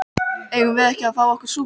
Eigum við ekki að fá okkur súpu?